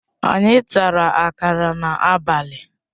Anyị tara akara n'abalị